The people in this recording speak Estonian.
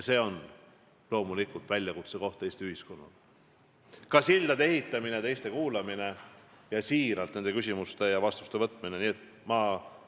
See on loomulikult väljakutse Eesti ühiskonnale, nagu ka sildade ehitamine, teiste kuulamine ning nende küsimuste ja vastuste siiralt võtmine.